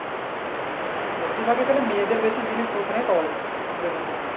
বেশিরভাগ তাহলে মেয়েদের বেশি জিনিস ওখানে পাওয়া যায় ছেলেদের তুলনায়।